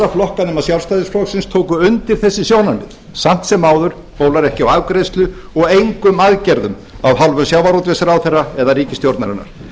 flokka nema sjálfstæðisflokksins tóku undir þessi sjónarmið samt sem áður bólar ekki á afgreiðslu og engum aðgerðum af hálfu sjávarútvegsráðherra eða ríkisstjórnarinnar